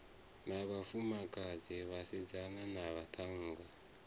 na vhafumakadzi vhasidzana na vhaṱhannga